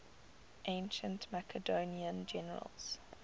ancient macedonian generals